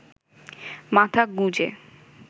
মাথা গুঁজে